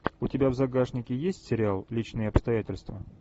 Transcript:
у тебя в загашнике есть сериал личные обстоятельства